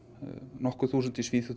nokkur þúsund í Svíþjóð